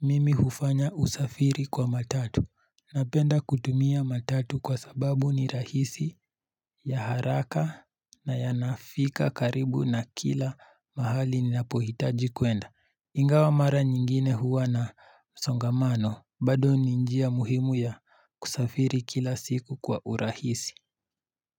mimi hufanya usafiri kwa matatu. Napenda kutumia matatu kwa sababu ni rahisi, ya haraka na yanafika karibu na kila mahali ninapohitaji kuenda. Ingawa mara nyingine huwa na msongamano, bado ni njia muhimu ya kusafiri kila siku kwa urahisi.